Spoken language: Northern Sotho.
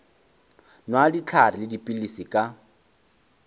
nwa dihlare le dipilisi ka